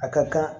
A ka kan